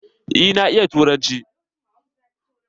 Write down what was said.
Eh na iya turanci.